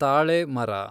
ತಾಳೆ ಮರ